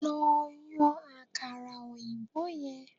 Lo yan àkàrà òyìnbó yen